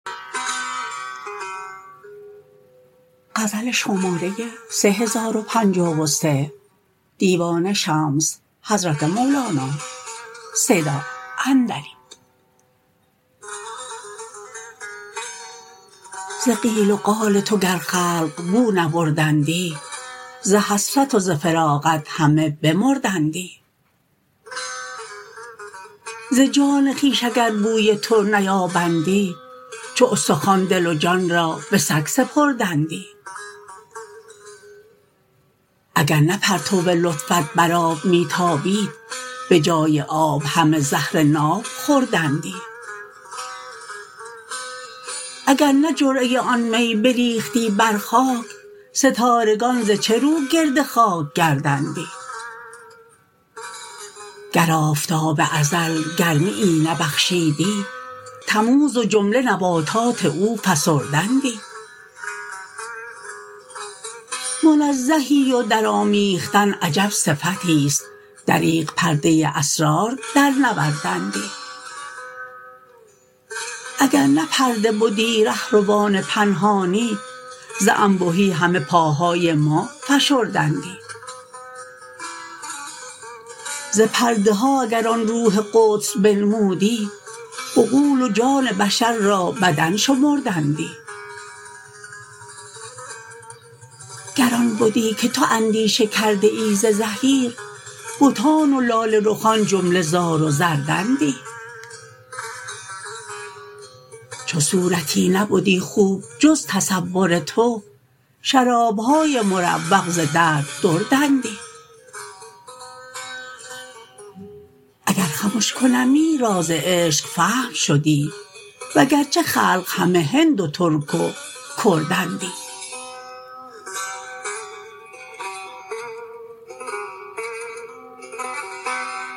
ز قیل و قال تو گر خلق بو نبردندی ز حسرت و ز فراقت همه بمردندی ز جان خویش اگر بوی تو نیابندی چو استخوان دل و جان را به سگ سپردندی اگر نه پرتو لطفت بر آب می تابید به جای آب همه زهر ناب خوردندی اگر نه جرعه آن می بریختی بر خاک ستارگان ز چه رو گرد خاک گردندی گر آفتاب ازل گرمیی نبخشیدی تموز و جمله نباتان او فسردندی منزهی و درآمیختن عجب صفتی است دریغ پرده اسرار درنوردندی اگر نه پرده بدی ره روان پنهانی ز انبهی همه پاهای ما فشردندی ز پرده ها اگر آن روح قدس بنمودی عقول و جان بشر را بدن شمردندی گر آن بدی که تو اندیشه کرده ای ز زحیر بتان و لاله رخان جمله زار و زردندی چو صورتی نبدی خوب جز تصور تو شراب های مروق ز درد دردندی اگر خمش کنمی راز عشق فهم شدی وگرچه خلق همه هند و ترک و کردندی